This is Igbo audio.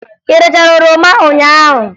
Ị rachara oroma ụnyaahụ?